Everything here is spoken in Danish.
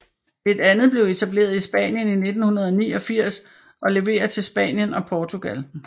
Et andet blev etableret i Spanien i 1989 og leverer til Spanien og Portugal